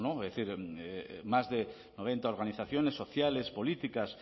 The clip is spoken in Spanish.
es decir más de noventa organizaciones sociales políticas